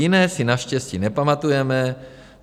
Jiné si naštěstí nepamatujeme.